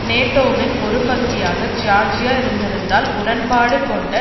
நேட்டோவின் ஒரு பகுதியாக ஜியார்ஜியா இருந்திருந்தால் உடன்பாடு கொண்ட